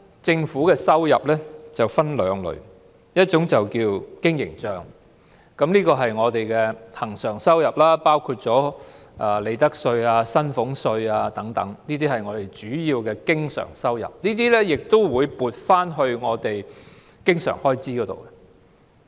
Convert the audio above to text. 政府的收入分為兩類：一是經營帳，是恆常收入，包括利得稅和薪俸稅等，是政府的主要收入，並會撥作經常開支。